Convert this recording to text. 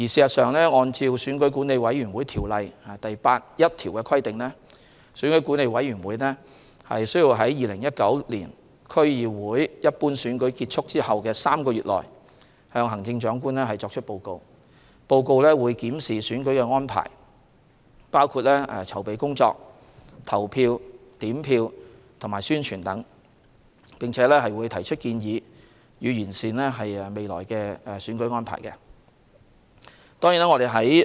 按《選舉管理委員會條例》第81條的規定，選舉管理委員會需於2019年區議會一般選舉結束後的3個月內，向行政長官作出報告。報告會檢視選舉安排，包括籌備工作、投票、點票和宣傳等，並提出建議，以完善未來的選舉安排。